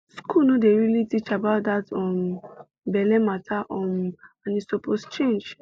school no dey really teach about that um belle matter um and e suppose change